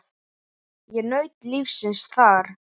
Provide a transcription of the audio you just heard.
Ég naut lífsins þar.